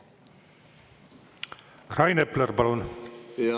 Rain Epler, palun!